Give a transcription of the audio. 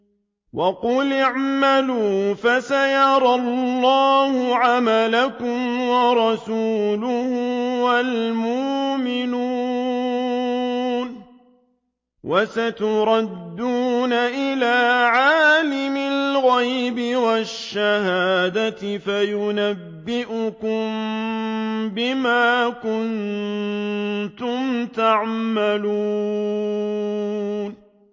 وَقُلِ اعْمَلُوا فَسَيَرَى اللَّهُ عَمَلَكُمْ وَرَسُولُهُ وَالْمُؤْمِنُونَ ۖ وَسَتُرَدُّونَ إِلَىٰ عَالِمِ الْغَيْبِ وَالشَّهَادَةِ فَيُنَبِّئُكُم بِمَا كُنتُمْ تَعْمَلُونَ